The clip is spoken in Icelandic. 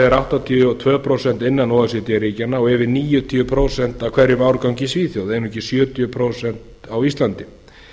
er áttatíu og tvö prósent innan o e c d ríkjanna og yfir níutíu prósent af hverjum árgangi í svíþjóð einungis sjötíu prósent á íslandi